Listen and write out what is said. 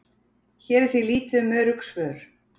Hér er því lítið um örugg svör.